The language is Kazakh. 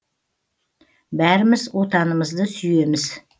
бәріміз отанымызды сүйеміз